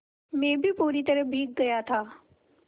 मैं भी पूरी तरह भीग गया था